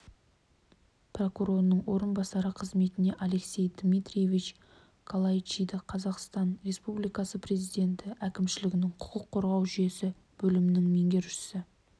прокурорының орынбасары қызметіне алексей дмитриевич калайчиди қазақстан республикасы президенті әкімшілігінің құқық қорғау жүйесі бөлімінің меңгерушісі